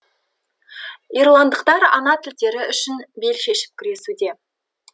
ирландықтар ана тілдері үшін бел шешіп күресуде